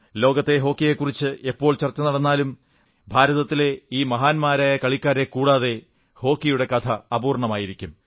ലോക ഹോക്കിയെക്കുറിച്ച് എപ്പോൾ ചർച്ച നടന്നാലും ഭാരതത്തിലെ ഈ മഹാന്മാരായ കളിക്കാരെക്കൂടാതെ ഹോക്കിയുടെ കഥ അപൂർണ്ണമായിരിക്കും